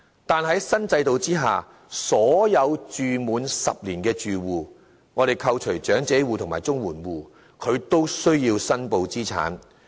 但是，在新制度之下，所有在公屋住滿10年的住戶均須申報資產。